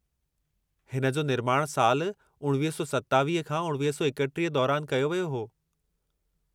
हिन जो निर्माणु साल 1927 खां 1931 दौरानि कयो वियो हो।